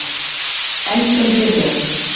Enn sem fyrr er